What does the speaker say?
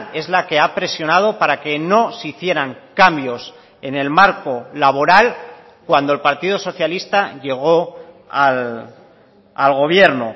es la que ha presionado para que no se hicieran cambios en el marco laboral cuando el partido socialista llegó al gobierno